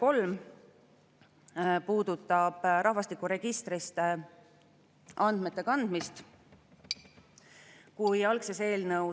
Liigume mõnusas tempos edasi kuuenda päevakorrapunkti juurde: Vabariigi Valitsuse algatatud perekonnaseaduse muutmise ja sellega seonduvalt teiste seaduste muutmise seaduse eelnõu 207 teine lugemine.